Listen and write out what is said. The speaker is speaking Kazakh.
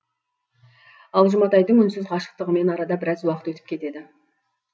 ал жұматайдың үнсіз ғашықтығымен арада біраз уақыт өтіп кетеді